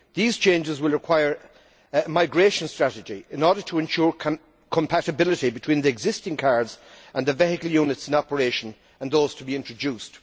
These changes will require a migration strategy in order to ensure compatibility between the existing cards and the vehicle units in operation and those to be introduced.